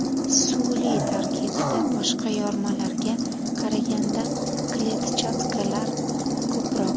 Suli tarkibida boshqa yormalarga qaraganda kletchatkalar ko‘proq.